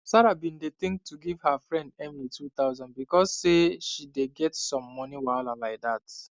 sarah been dey think to give her friend emily 2000 because say she dey get some moni wahala like that